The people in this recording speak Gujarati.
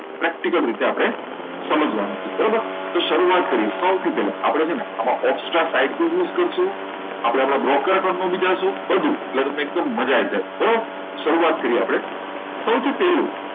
practical રીતે આપણે સમજવાના છે બરાબર તો શરૂઆત કરીએ સૌથી પહેલા આપણે છે ને extra side આપણે use કરશું આપણે આપણા broker પણ બની જઈશું બધું learning તો મજા આવી જાય બરાબર શરૂઆત કરી આપણે સૌથી પહેલું